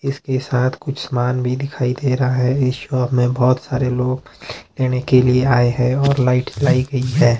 इसके साथ कुछ समान भीं दिखाई दे रहा है इस शॉप में बहोत सारे लोग लेने के लिए आए हैं और लाइट जलाई गई है।